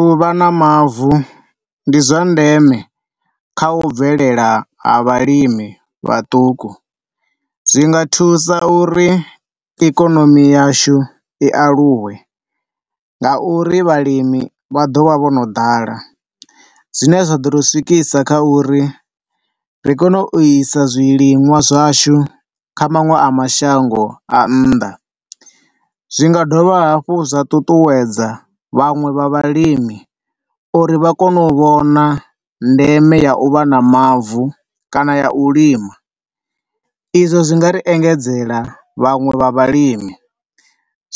Uvha na mavu ndi zwa ndeme kha u bvelela ha vhalimi vhaṱuku, zwinga thusa uri ikonomi yashu i aluwe nga uri vhalimi vha ḓo vha vho no ḓala zwine zwa ḓo riswikisa kha uri ri kone u isa zwiliṅwa zwashu kha maṅwe a mashango a nnḓa. Zwi nga dovha hafhu zwa ṱuṱuwedza vhanwe vha vhalimi uri vha kone u vhona ndeme ya u vha na mavu kana ya u lima. I zwo zwi nga ri engedzela vhanwe vha vhalimi,